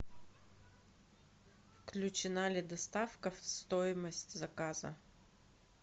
включена ли доставка в стоимость заказа